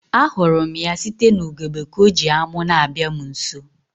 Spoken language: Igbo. A hụrụ m ya site n'ugegbe ka ọ ji amu na-abịa m nso